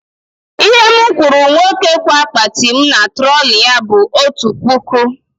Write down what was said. Ihe mụ kwụrụ nwoke kwa akpati mụ na trọlị nyaa bụ otu puku naira